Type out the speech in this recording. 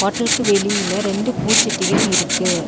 ஹோட்டல்க்கு வெளியில ரெண்டு பூ சட்டிகள் இருக்கு.